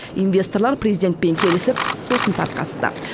инвесторлар президентпен келісіп сосын тарқасты